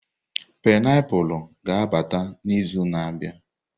painiapulu ga-abata n'izu na-abịa.